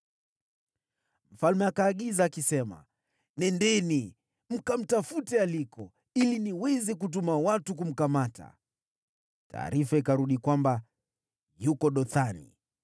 Mfalme akaagiza akisema, “Nendeni, mkatafute aliko, ili niweze kutuma watu kumkamata.” Taarifa ikarudi kwamba, “Yuko Dothani.”